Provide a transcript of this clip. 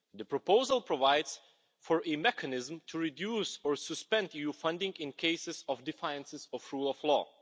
The proposal provides for a mechanism to reduce or suspend EU funding in cases of defiance of the rule of law.